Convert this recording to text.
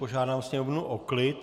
Požádám sněmovnu o klid.